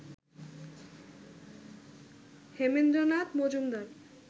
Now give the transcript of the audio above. Hemendranath Majumdar